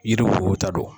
Yiri wo ta don